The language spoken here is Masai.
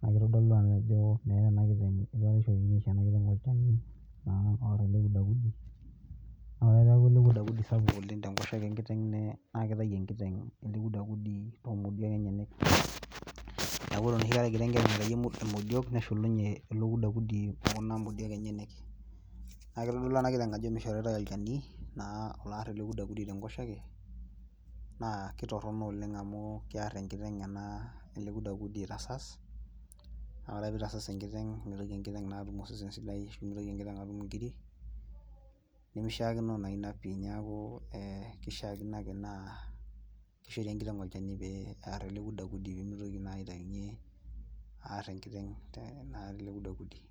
naa kitodolu ake ajo, meeta ena kiteng eitu aikata itokini aisho ena kiteng olchani, ore ake peeku ele kudakud sapuk oleng, naa kitayu enkiteng' ele kudakudi too modiok enyenak, neeku ore enoshi kata egira enkeju aitayu modiok, neshukunye ilo kudakudi, okuna modiok enyenyek, naa kitodolu ena kiteng ajo mishoritae olchani naa loor els kudakudi tenkoshoke naa kitorono oleng amu kear enkiteng' ena ele kudakudi aitasas. naa ore ake pee itaasas enkiteng', mitoki enkiteng' naa aas entoki sidai, mitoki enkiteng' atum nkirik, nemishaakino naa Ina pii, neeku kishaakino, ake naa kishori enkiteng' olchani pee, eer ele kudakudi pee mitoki naa aitayunye aar enkiteng' naa ele kudakudi.